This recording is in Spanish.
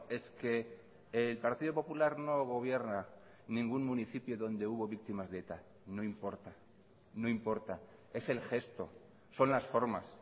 es que el partido popular no gobierna ningún municipio donde hubo víctimas de eta no importa no importa es el gesto son las formas